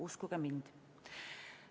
Uskuge mind.